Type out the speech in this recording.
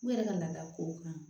U yɛrɛ ka laada kow kan